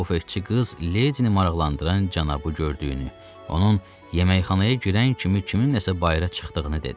Bu fıççı qız Ledini maraqlandıran cənabı gördüyünü, onun yeməkxanaya girən kimi kimin nəsə bayıra çıxdığını dedi.